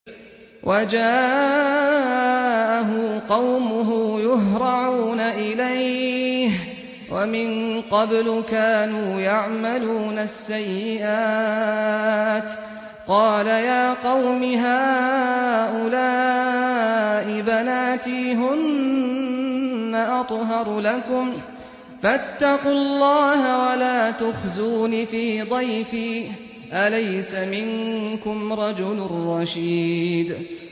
وَجَاءَهُ قَوْمُهُ يُهْرَعُونَ إِلَيْهِ وَمِن قَبْلُ كَانُوا يَعْمَلُونَ السَّيِّئَاتِ ۚ قَالَ يَا قَوْمِ هَٰؤُلَاءِ بَنَاتِي هُنَّ أَطْهَرُ لَكُمْ ۖ فَاتَّقُوا اللَّهَ وَلَا تُخْزُونِ فِي ضَيْفِي ۖ أَلَيْسَ مِنكُمْ رَجُلٌ رَّشِيدٌ